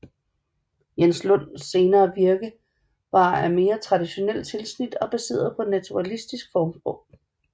Jens Lund senere virke var af mere traditionelt tilsnit og baseret på naturalistisk formsprog